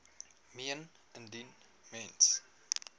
meen indien mens